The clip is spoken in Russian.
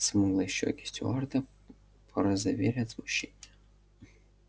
смуглые щёки стюарта порозовели от смущения